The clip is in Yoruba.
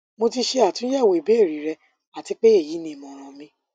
mo ti mo ti ṣe atunyẹwo ibeere rẹ ati pe eyi ni imọran mi